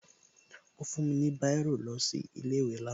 Ó fún mi ní Báírò lọ sí ilé ìwé lánàá